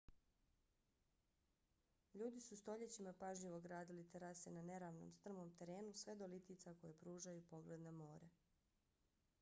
ljudi su stoljećima pažljivo gradili terase na neravnom strmom terenu sve do litica koje pružaju pogled na more